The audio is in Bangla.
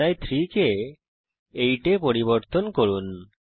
তাই 3 কে 8 এ পরিবর্তন করুন